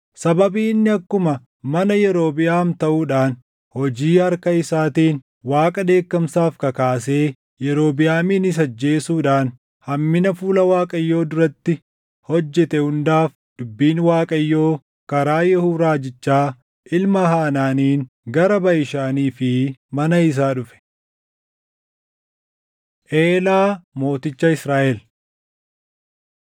Sababii inni akkuma mana Yerobiʼaam taʼuudhaan hojii harka isaatiin Waaqa dheekkamsaaf kakaasee Yerobiʼaaminis ajjeesuudhaan hammina fuula Waaqayyoo duratti hojjete hundaaf dubbiin Waaqayyoo karaa Yehuu raajichaa ilma Hanaaniin gara Baʼishaanii fi mana isaa dhufe. Eelaa Mooticha Israaʼel